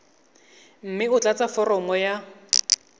mme o tlatse foromo ya